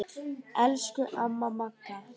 Elsku amma Magga.